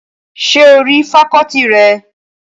Ṣé o rí fakọ́ọ́tì rẹ̀?